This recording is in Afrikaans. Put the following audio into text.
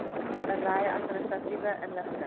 berei administratiewe inligting